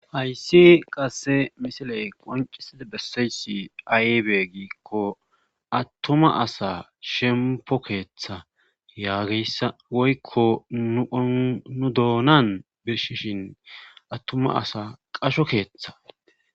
hayssi qasse misiley qoncisida bessayssi aybe giikko attuma asa shempo keeththa yaageyssa woykko nu doonan birshishin attuma asa qasho keeththa